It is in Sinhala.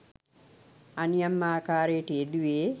අනියම් ආකාරයට යෙදුවේ